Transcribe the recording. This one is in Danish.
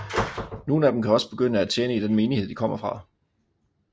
Nogen af dem kan også begynde at tjene i den menighed de kommer fra